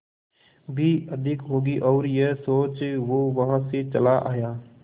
भी अधिक होगी और यह सोच वो वहां से चला आया